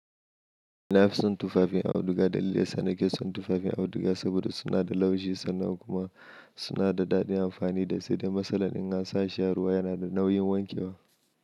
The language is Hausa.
Nafison tufafin auduga dalili dayasa nakeson tufafin auduga saboda sunada laushi sannan kuma sunada dadin amfani da saidai matsalan in ansashi a ruwa yanada nauyin wankewa.